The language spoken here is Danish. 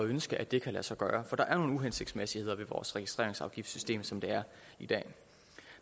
ønske at det kan lade sig gøre for der er jo nogle uhensigtsmæssigheder ved vores registreringsafgiftssystem som det er i dag